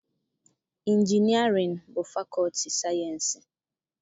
Injinịarịan bụ fakọọti sayịensị